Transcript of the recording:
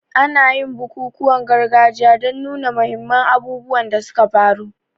Ana yin bukukuwan gargajiya don nuna muhimman abubuwan da suka faru.